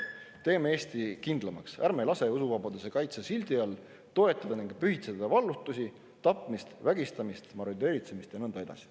Teeme Eesti kindlamaks, ärme laseme usuvabaduse kaitse sildi all toetada ning pühitseda vallutust, tapmist, vägistamist, marodööritsemist ja nõnda edasi.